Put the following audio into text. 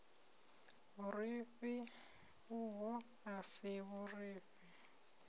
vhurifhi uho a si vhurifhi